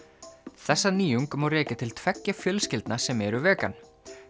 þessa nýjung má rekja til tveggja fjölskyldna sem eru vegan